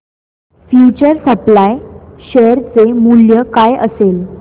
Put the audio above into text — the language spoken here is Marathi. फ्यूचर सप्लाय शेअर चे मूल्य काय असेल